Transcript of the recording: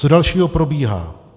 Co dalšího probíhá?